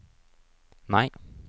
nei